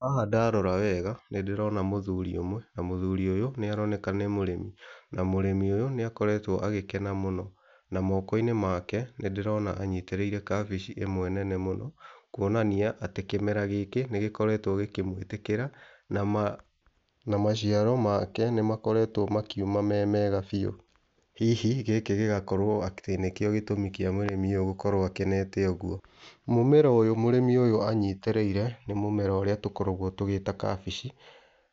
Haha ndarora wega nĩndĩrona mũthuri ũmwe, na mũthuri ũyũ nĩaroneka nĩ mũrĩmi na mũrĩmi ũyũ nĩakoretwo agĩkena mũno, na moko-inĩ make nĩndĩrona anyitĩrĩire kabici ĩmwe nene mũno kũonania atĩ kĩmera gĩkĩ nĩgĩkoretwo gĩkĩmwĩtĩkĩra na maciaro make nĩmakoretwo makiuma me mega biu, hihi gĩkĩ gĩgakorwo atĩ nĩkĩo gĩtũmi kĩa mũrĩmi ũyũ gũkorwo akenete ũguo. Mũmera ũyũ mũrĩmi ũyũ anyitĩrĩire nĩ mũmera ũrĩa tũkoragwo tũgĩta kabici,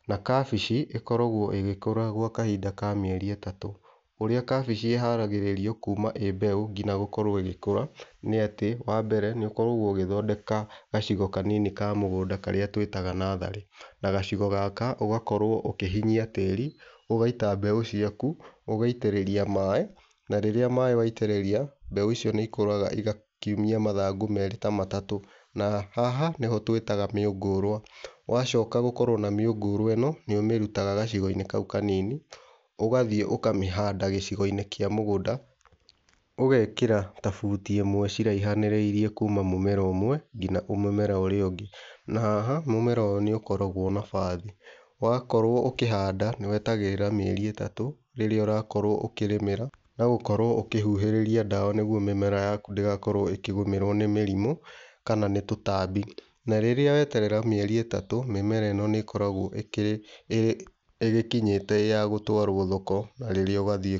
na kabici ĩkoragwo ĩgĩkũra gwa kahinda ka mĩeri ĩtatũ. Ũrĩa kabici ĩharagĩrĩrio kuma ĩ mbeũ nginya gũkorwo ĩgĩkũra, nĩ atĩ wambere nĩũkoragwo ũgĩthondeka gacigo kanini ka mũgũnda karĩa twĩtaga natharĩ, na gacigo gaka ũgakorwo ũkĩhinyia tĩri, ũgaita mbeũ ciaku, ũgaitĩrĩra maĩ na rĩrĩa maĩ waitĩrĩria mbeũ icio nĩikũraga igakiumia mathangũ merĩ ta matatũ, na haha nĩho twĩtaga mĩũngũrwa, wacoka gũkorwo na mĩũngũrwa ĩno nĩumĩrutaga gacigo-inĩ kau kanini, ũgathiĩ ũkamĩhanda gĩcigo-inĩ kĩa mũgũnda, ũgekĩra ta buti ĩmwe ciraihanĩrĩirie kuma mũmera ũmwe nginya mũmera ũrĩa ũngĩ, na haha mũmera ũyũ nĩukoragwo na bathi. Wakorwo ũkĩhanda nĩwetagĩrĩra mĩeri ĩtatũ, rĩrĩa ũrakorwo ũkĩrĩmĩra na gũkorwo ũkĩhuhĩrĩria ndawa, nĩgũo mĩmera yaku ndĩgakorwo ĩkĩgũmĩrwo nĩ mĩrimũ, kana nĩ tũtambi, na rĩrĩa weterera mĩeri ĩtatu mĩmera ĩno nĩĩkoragwo ĩkĩrĩ ĩgĩkinyĩte ya gũtwarwo thoko na rĩrĩa ũgathiĩ...